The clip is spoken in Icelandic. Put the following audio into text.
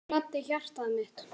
Það gladdi hjartað mitt.